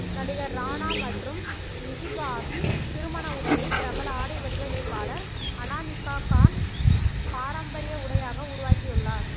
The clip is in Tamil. நடிகர் ராணா மற்றும் மிஹீகாவின் திருமண உடையை பிரபல ஆடை வடிவமைப்பாளர் அனாமிகா கான் பாரம்பர்ய உடையாக உருவாக்கி உள்ளார்